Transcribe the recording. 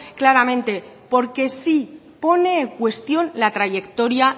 claramente porque sí pone en cuestión la trayectoria